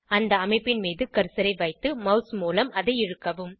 அந்த அமைப்பின் மீது கர்சரை வைத்து மாஸ் மூலம் அதை இழுக்கவும்